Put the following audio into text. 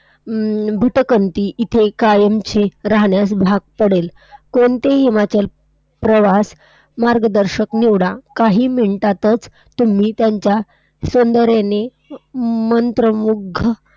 हम्म भूतकन्ति इथे कायमची राहण्यास भाग पडेल. कोणतेही हिमाचल प्रवास मार्गदर्शक निवडा. काही minute आतच तुम्ही त्यांच्या सौंदर्यने म~ अं मंत्रमुग्ध